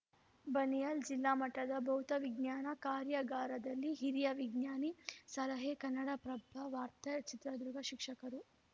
ಬನಿಯಾಲ್‌ ಜಿಲ್ಲಾಮಟ್ಟದ ಭೌತವಿಜ್ಞಾನ ಕಾರ್ಯಾಗಾರದಲ್ಲಿ ಹಿರಿಯ ವಿಜ್ಞಾನಿ ಸಲಹೆ ಕನ್ನಡಪ್ರಭ ವಾರ್ತೆ ಚಿತ್ರದುರ್ಗ ಶಿಕ್ಷಕರು